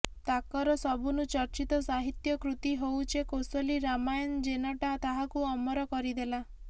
ତାକର ସବୁନୁ ଚର୍ଚିତ ସାହିତ୍ୟ କୃତି ହଉଛେ କୋସଲି ରାମାୟନ ଜେନଟା ତାହାକୁ ଅମର କରିଦେଲା